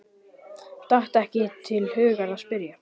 Datt ekki til hugar að spyrja.